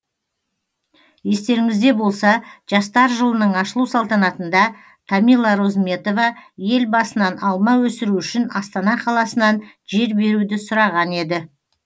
естеріңізде болса жастар жылының ашылу салтанатында тамила розметова елбасынан алма өсіру үшін астана қаласынан жер беруді сұраған еді